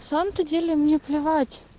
на самом то деле мне плевать